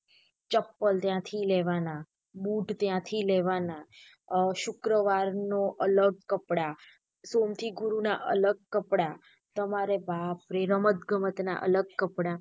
ચપલ ત્યાં થી લેવાના બુટ ત્યાંતી લેવાના અ શુક્રવાર નું અલગ કપડાં સોમ થી ગુરુ ના અલગ કપડાં તમારે બાપરે રમત ગમત ના અલગ કપડાં.